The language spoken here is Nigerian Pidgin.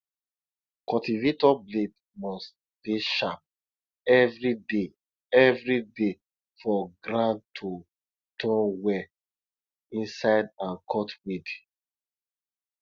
cultivator blade must dey sharp everyday everyday for ground to turn well inside and cut weed